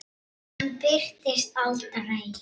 Hann birtist aldrei.